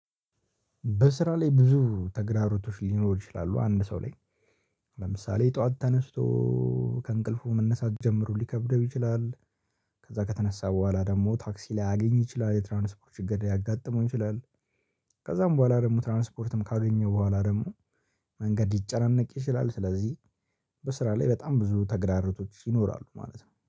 በስራ ላይ ብዙ ተግዳራሮቶች ሊኖሩ ይችላሉ አንድ ሰው ላይ። ለምሳሌ ጠዋት ተነስቶ ከእንቅልፉ መነሳት ጀምሮ ሊከብደው ይችላል። ከዛ ከተነሳ በኋላ ደግሞ ታክሲ ላያአግኝ ይችላል የትራንስፖርት ሽግር ልያጋጥመው ይችላል። ከዛም በኋላ ደግሞ ትራንስፖርትም ካገኘው በኋላ ደግሞ መንገድ ሊጨናነቅ ይችላል ስለዚህ። በስራ ላይ በጣም ብዙ ተግዳሮቶች ይኖራሉ ማለት ነው